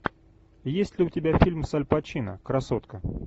есть ли у тебя фильм с аль пачино красотка